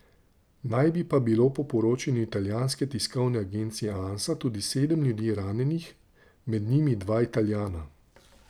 Naj bi pa bilo po poročanju italijanske tiskovne agencije Ansa tudi sedem ljudi ranjenih, med njimi dva Italijana.